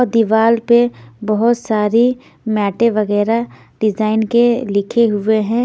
दीवार पे बहुत सारी मैटे वगैरह डिजाइन के लिखे हुए हैं.